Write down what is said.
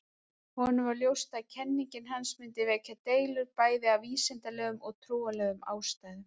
Honum var ljóst að kenning hans mundi vekja deilur, bæði af vísindalegum og trúarlegum ástæðum.